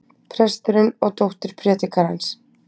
Presturinn og dóttir predikarans.